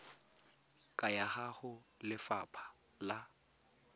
ka ya go lefapha la